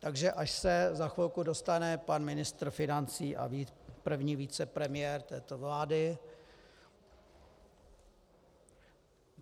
Takže až se za chvilku dostane pan ministr financí a první vicepremiér této vlády...